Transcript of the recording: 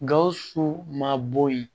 Gawusu ma bɔ yen